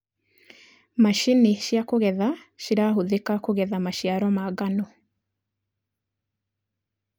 macinĩ cia kũgetha cirahũthika kũgetha maciaro ma ngano